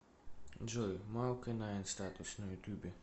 джой марко найн статус на ютубе